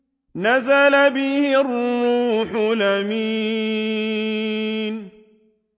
نَزَلَ بِهِ الرُّوحُ الْأَمِينُ